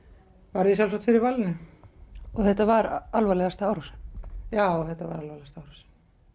varð ég sjálfsagt fyrir valinu og þetta var alvarlegasta árásin já þetta var alvarlegasta árásin